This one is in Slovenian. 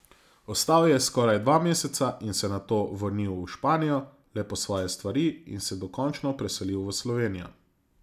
Ostal je skoraj dva meseca in se nato vrnil v Španijo le po svoje stvari in se dokončno preselil v Slovenijo.